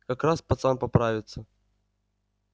как раз пацан поправится